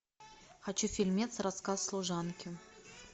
хочу фильмец рассказ служанки